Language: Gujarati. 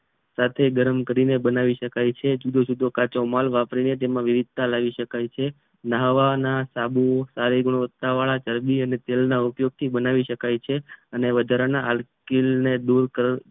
સાથે ગરમ કરી ને બનાવી શકાય છે જુદો જુદો કાચો માલ વાપરીને તેમાં વિવિધતા લાવી શકાય છે નાવાના સાબુ સારી ગુણવત્તાવાળા ચરબી અને તેલના ઉપયોગથી બનાવી શકાય છે અને વધારાના હટ કિલ્લ દૂર